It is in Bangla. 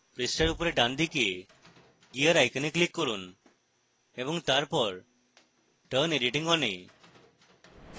পৃষ্ঠার উপরের ডানদিকে gear icon click করুন এবং তারপর turn editing on এ